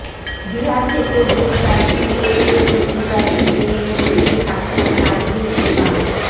বিহার থেকে গ্রেফতার সিএএ প্রতিবাদী জেএনইউ ছাত্র শারজিল ইমাম